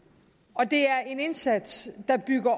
og det er en indsats der bygger